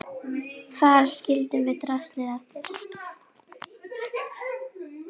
Þar skildum við draslið eftir.